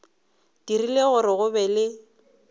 dirile gore go be le